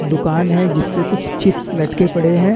दुकान है जिसपे कुछ चिप्स लटके पड़े हैं।